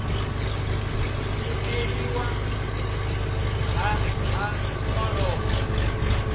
u dzhieliwa nha ha orobo